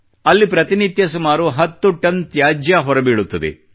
ಅಲ್ಲಿ ಪ್ರತಿನಿತ್ಯ ಸುಮಾರು 10 ಟನ್ ತ್ಯಾಜ್ಯ ಹೊರಬೀಳುತ್ತದೆ